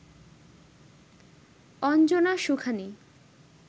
Anjana Sukhani